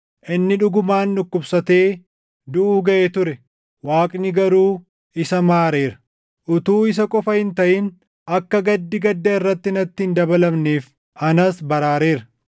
Inni dhugumaan dhukkubsatee duʼuu gaʼee ture. Waaqni garuu isa maareera; utuu isa qofa hin taʼin akka gaddi gadda irratti natti hin dabalamneef anas baraareera.